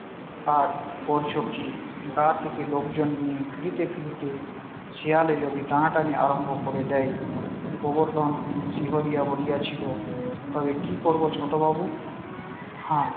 আর করছো কি গা থেকে লোকজন নিয়ে ফিরিতে ফিরিতে শেয়ালে যদি টানাটানি আরম্ভ করে দেয় গোবর্ধন শিহরিয়া বলিয়াছিল তবে কি করব ছোট বাবু হা